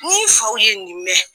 Ni faw ye nin mɛn